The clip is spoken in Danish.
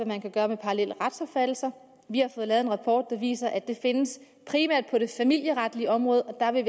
man kan gøre med parallelle retsopfattelser vi har fået lavet en rapport der viser at det primært findes på det familieretlige område og der vil